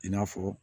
I n'a fɔ